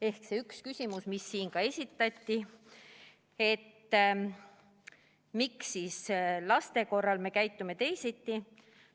Ehk see üks küsimus, mis siin ka esitati: miks me siis laste suhtes käitume teisiti?